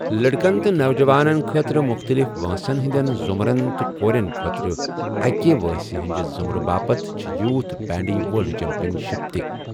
لڑکن تہٕ نوجوانَن خٲطرٕ مختلف وٲنٛسن ہٕنٛدٮ۪ن ضٗمرن تہٕ کورٮ۪ن خٲطرٕ أکِہ وٲنٛسہِ ہٕنٛدِِ ضٖٗمرٕ باپت چھے٘ یوٗتھ بینڈی ورلڈ چیمپیَن شپہٕ تہِ ۔